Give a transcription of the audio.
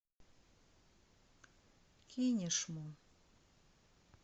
кинешму